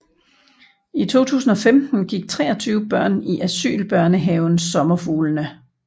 I 2015 gik 23 børn i asylbørnehaven Sommerfuglene